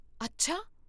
ਅੱਛਾ!